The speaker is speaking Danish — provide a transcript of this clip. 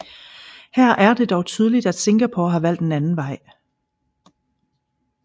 Her er det dog tydeligt at Singapore har valgt en anden vej